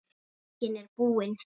Bókin er búin.